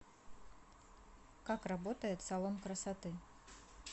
как работает салон красоты